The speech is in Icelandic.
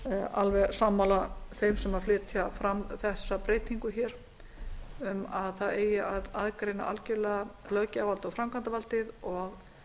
alveg sammála þeim sem flytja fram þessa breytingu um að það eigi að aðgreina algerlega löggjafarvald og framkvæmdarvaldið og